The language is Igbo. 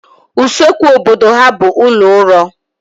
Usekwu obodo ha bụ ụlọ uro